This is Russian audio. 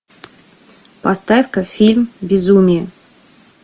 поставь ка фильм безумие